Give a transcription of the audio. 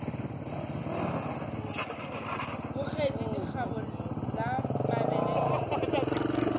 bogetše lekgaba la mabele le